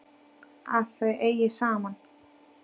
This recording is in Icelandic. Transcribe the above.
Að þau eigi saman.